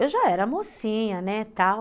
Eu já era mocinha, né, tal.